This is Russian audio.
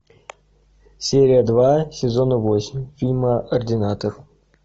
серия два сезона восемь фильма ординатор